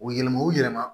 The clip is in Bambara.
O yɛlɛma o yɛlɛma